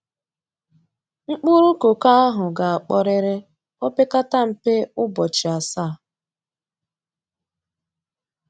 Mkpụrụ koko ahụ ga-akpọrịrị o pekata mpe ụbọchị asaa.